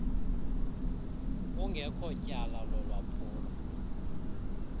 kungekho tyala lalwaphulo